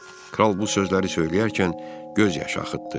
Kral bu sözləri söyləyərkən göz yaşı axıtdı.